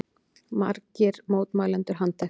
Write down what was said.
Þá voru margir mótmælendur handteknir